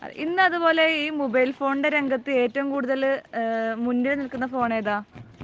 ഇന്ന് അതുപോലെ ഈ മൊബൈൽ ഫോണിൻറെ രംഗത്ത് ഏറ്റവും കൂടുതൽ മുന്നിൽ നിൽക്കുന്ന ഫോൺ ഏതാ?